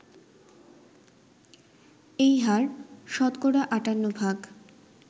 এই হার ৫৮%